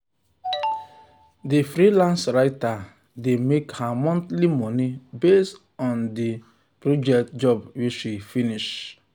the freelance writer dey make her monthly money based on the based on the project job wey she finish.